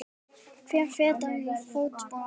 Hver fetar í fótspor annars.